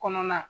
Kɔnɔna